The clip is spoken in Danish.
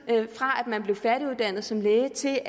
fra man blev færdiguddannet som læge til